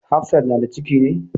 Hafsat na da ciki ne?